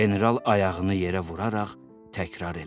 General ayağını yerə vuraraq təkrar elədi.